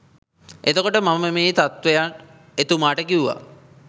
එතකොට මම මේ තත්ත්වය එතුමාට කිව්වා